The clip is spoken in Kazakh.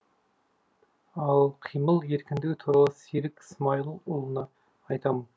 ал қимыл еркіндігі туралы серік смайылұлына айтамын